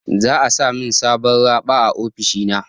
Za'a sa min sabon raɓa a ofishina.